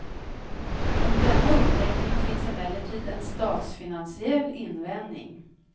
Mot denna uppläggning finns emellertid en statsfinansiell invändning.